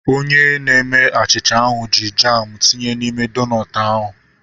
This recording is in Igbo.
Onye na-eme achịcha ahu ji jamu tinye n'ime donut ahu